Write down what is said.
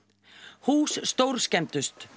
hús stórskemmdust